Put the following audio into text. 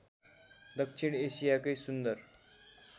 दक्षिण एसियाकै सुन्दर